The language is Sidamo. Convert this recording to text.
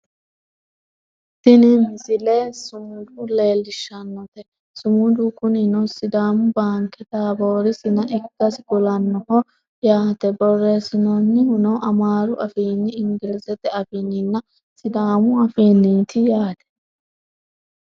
tini misile sumuda leellishshannote sumudu kunino sidaamu banke taboori sina ikkase kulannoho yaate borreessinoonnihuno amaaru afiinni ingilizete afiinninnna sidaamu afiinniiti yate